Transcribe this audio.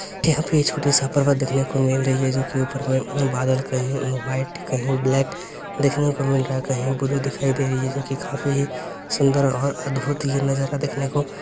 यहां पे छोटे-सा पर्वत देखने को मिल रही है जो कि ऊपर मे उम्म बादल कही व्हाइट कही ब्लैक देखने को मिल रहा है कही ब्लू दिखाई दे रही है जो कि काफी सुंदर और अद्भुत ये नजारा देखने को --